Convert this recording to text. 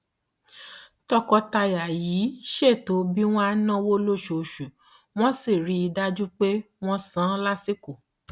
tọkọtaya yìí ṣètò bí wọn á náwó lóṣooṣù wọn sì rí i dájú pé wọn san lásìkò